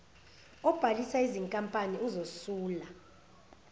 obhalisa izinkampani uzosula